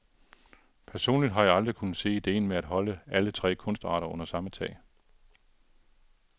Personligt har jeg aldrig kunnet se idéen med at holde alle tre kunstarter under samme tag.